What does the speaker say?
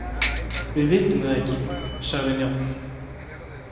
Við vitum það ekki, sagði Njáll.